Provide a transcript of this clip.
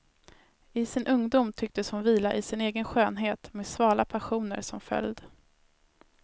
I sin ungdom tycktes hon vila i sin egen skönhet med svala passioner som följd.